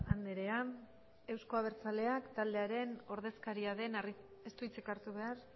andrea euzko abertzaleak taldearen ordezkari den ez du hitzik hartu behar